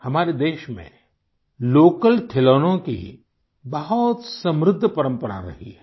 हमारे देश में लोकल खिलौनों की बहुत समृद्ध परंपरा रही है